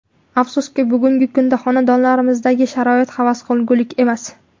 Afsuski, bugungi kunda xonadonlarimizdagi sharoit havas qilgulik emas.